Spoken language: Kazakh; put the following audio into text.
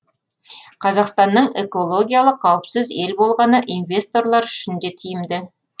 қазақстанның экологиялық қауіпсіз ел болғаны инвесторлар үшін де тиімді